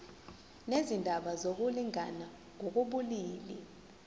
nezindaba zokulingana ngokobulili